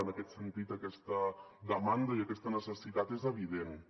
en aquest sentit aquesta demanda i aquesta necessitat són evidents